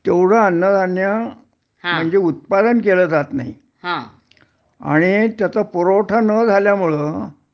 तेवढं अन्नधान्य म्हणजे उत्पादन केलं जात नाही आणि त्याचा पुरवठा न झाल्यामुळं